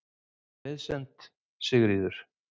Með vinsemd, Sigríður.